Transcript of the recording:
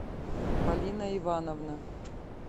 полина ивановна